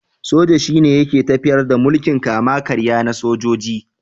Soja shine yake tafiyar da mulkin kama-karya na sojoji.